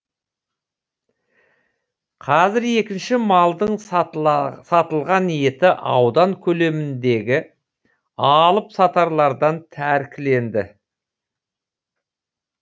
қазір екінші малдың сатылған еті аудан көлеміндегі алып сатарлардан тәркіленді